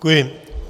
Děkuji.